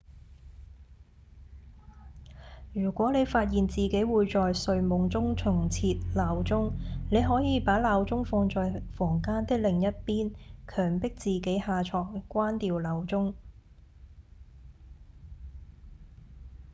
如果你發現自己會在睡夢中重設鬧鐘你可以把鬧鐘放在房間的另一邊強迫自己下床關掉鬧鐘